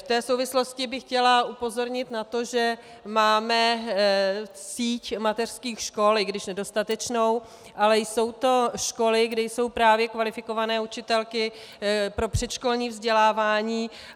V té souvislosti bych chtěla upozornit na to, že máme síť mateřských škol, i když nedostatečnou, ale jsou to školy, kde jsou právě kvalifikované učitelky pro předškolní vzdělávání.